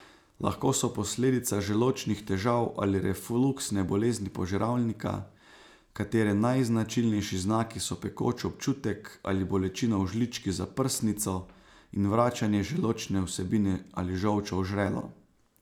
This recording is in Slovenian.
Lahko so posledica želodčnih težav ali refluksne bolezni požiralnika, katere najznačilnejši znaki so pekoč občutek ali bolečina v žlički za prsnico in vračanje želodčne vsebine ali žolča v žrelo.